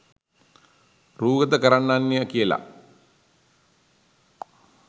රූගත කරන්නන්ය කියලා.